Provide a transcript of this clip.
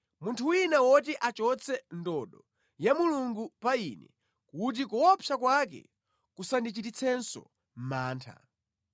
munthu wina woti achotse ndodo ya Mulungu pa ine kuti kuopsa kwake kusandichititsenso mantha!